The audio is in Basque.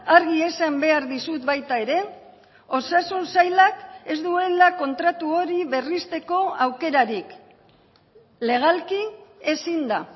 argi esan behar dizut baita ere osasun sailak ez duela kontratu hori berrizteko aukerarik legalki ezin da